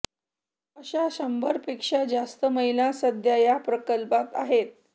अशा शंभरपेक्षा जास्त महिला सध्या या प्रकल्पात आहेत